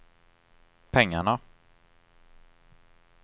pengarna